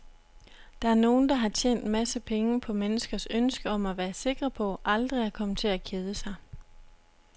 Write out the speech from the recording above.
Der er nogen, der har tjent en masse penge på menneskers ønske om at være sikre på aldrig at komme til at kede sig.